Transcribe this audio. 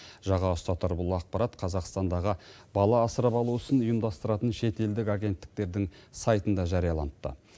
жаға ұстатар бұл ақпарат қазақстандағы бала асырап алу ісін ұйымдастыратын шетелдік агенттіктердің сайтында жарияланыпты